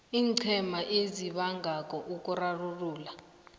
iinqhema ezibangako ukurarulula